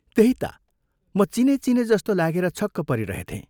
"त्यही ता, म चिने चिने जस्तो लागेर छक्क परिरहेथें।